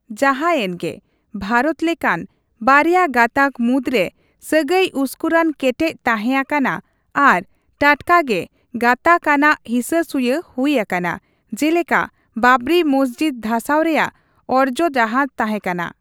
ᱡᱟᱦᱟᱸᱭᱮᱱᱜᱮ, ᱵᱷᱟᱨᱚᱛ ᱞᱮᱠᱟᱱ, ᱵᱟᱨᱭᱟ ᱜᱟᱛᱟᱜ ᱢᱩᱫᱽᱨᱮ ᱥᱟᱹᱜᱟᱹᱭ ᱩᱥᱠᱩᱨᱟᱱ ᱠᱮᱴᱮᱡ ᱛᱟᱦᱮᱸ ᱟᱠᱟᱱᱟ ᱟᱨ ᱴᱟᱴᱠᱟ ᱜᱮ ᱜᱟᱛᱟᱠ ᱟᱱᱟᱜ ᱦᱤᱥᱟᱹᱥᱩᱭᱟᱹ ᱦᱩᱭ ᱟᱠᱟᱱᱟ, ᱡᱮᱞᱮᱠᱟ ᱵᱟᱵᱽᱨᱤ ᱢᱚᱥᱡᱤᱫ ᱫᱷᱟᱥᱟᱣ ᱨᱮᱭᱟᱜ ᱚᱨᱡᱚ ᱡᱟᱦᱟᱸ ᱛᱟᱦᱮᱸᱠᱟᱱᱟ ᱾